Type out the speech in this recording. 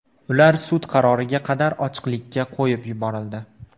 Ular sud qaroriga qadar ochiqlikka qo‘yib yuborildi.